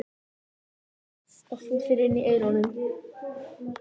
Mundu að þvo þér inni í eyrunum.